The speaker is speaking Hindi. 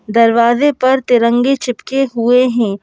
दरवाज़े पर तिरंगे चिपके हुए हैं।